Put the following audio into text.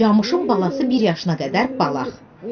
Camışın balası bir yaşına qədər balaq.